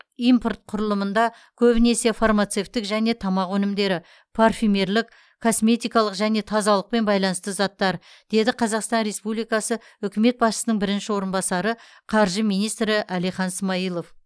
импорт құрылымында көбінесе фармацевтік және тамақ өнімдері парфюмерлық косметикалық және тазалықпен байланысты заттар деді қазақстан республикасы үкімет басшысының бірінші орынбасары қаржы министрі әлихан смайылов